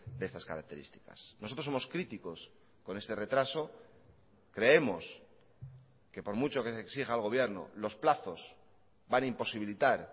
de estas características nosotros somos críticos con este retraso creemos que por mucho que se exija al gobierno los plazos van a imposibilitar